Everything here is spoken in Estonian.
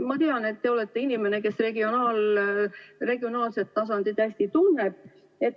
Ma tean, et teie olete inimene, kes regionaalset tasandit hästi tunneb.